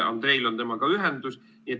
Andreil on temaga ühendus.